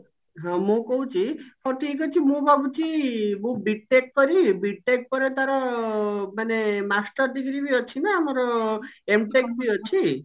ହଁ ମୁଁ କହୁଛି ହଉ ଠିକ ଅଛି ମୁଁ ଭାବୁଛି ମୁଁ B.TECH କରିବି B.TECH ପରେ ତାର ମାନେ master degree ବି ଅଛି ନା ଆମର M.TECH ବି ଅଛି